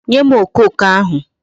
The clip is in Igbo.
Nye m okoko ahu